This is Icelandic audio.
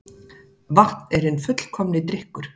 Vatn er hinn fullkomni drykkur